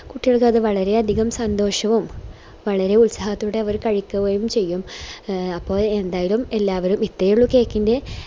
കുട്ടികൾക്കൊക്കെ വളരെയധികം സന്തോഷവും വളരെ ഉത്സാഹത്തോടെ കഴിക്കുകയും ചെയ്യും അപ്പൊ എന്തായാലും എല്ലാവരും ഇത്രേ ഉള്ളു cake ൻറെ